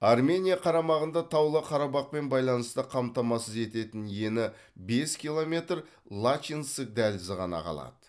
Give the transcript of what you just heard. армения қарамағында таулы қарабақпен байланысты қамтамасыз ететін ені бес километр лачинск дәлізі ғана қалады